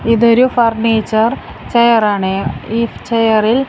ഇതൊരു furniture chair ആണ് ഈ ചെയറിൽ --